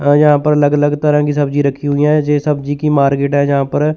अ यहां पर अलग अलग तरह की सब्जी रखी हुई है। यह सब्जी की मार्केट है यहां पर --